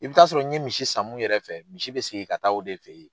I bɛ t'a sɔrɔ n ye misi san mun yɛrɛ fɛ misi bɛ segin ka taa o de fɛ ye.